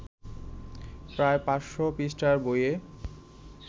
প্রায় ৫০০ পৃষ্ঠার বইয়ে